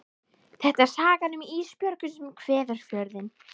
Þetta er sagan um Ísbjörgu sem kveður Fjörðinn.